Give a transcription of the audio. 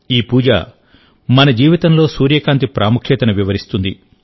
ఈ పూజ మన జీవితంలో సూర్యకాంతి ప్రాముఖ్యతను వివరిస్తుంది